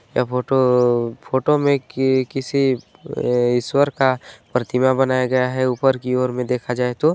ये photo photo में की-- किसी अ-- ईश्वर का प्रतिमा बनाया गया है ऊपर की ओर मे देखा जाए तो --